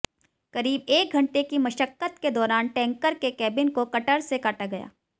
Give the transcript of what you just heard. करीब एक घंटे की मशक्कत के दौरान टैंकर के केबिन को कटर से काटा गया